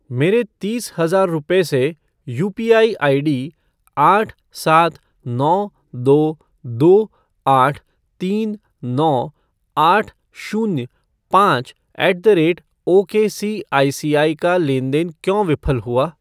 मेरे तीस हज़ार रुपये से यूपीआई आईडी आठ सात नौ दो दो आठ तीन नौ आठ शून्य पाँच ऐट द रेट ओकेसीआईसीआई का लेन देन क्यों विफल हुआ?